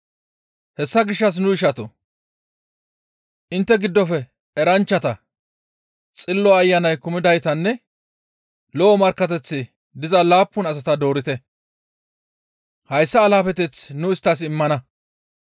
Hessa gishshas nu ishatoo! Intte giddofe eranchchata, Xillo Ayanan kumidaytanne lo7o markkateththi diza laappun asata doorite; hayssa alaafeteth nu isttas immana.